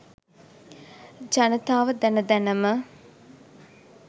ජනතාව දැන දැන ම